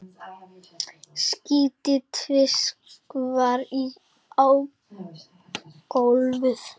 Spýti tvisvar á gólfið.